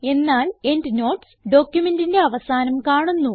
എന്നാൽ എൻഡ്നോട്ട്സ് ഡോക്യുമെന്റിന്റെ അവസാനം കാണുന്നു